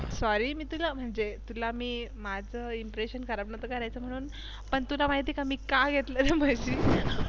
Sorry मी तुला काय म्हणते. मी माझ Impresssion खराब नव्हतं करायच म्हणून पण तुला माहित आहे का मी का घेतल्या म्हशी